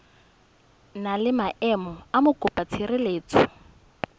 na le maemo a mokopatshireletso